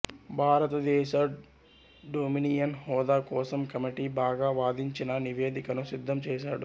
భారతదేశ డొమినియన్ హోదా కోసం కమిటీ బాగా వాదించిన నివేదికను సిద్ధం చేసాడు